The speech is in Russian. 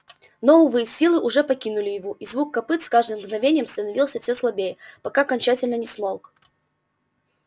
но увы силы уже покинули его и звук копыт с каждым мгновением становился все слабее пока окончательно не смолк